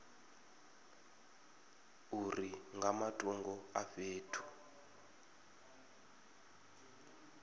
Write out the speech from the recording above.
uri nga matungo a fhethu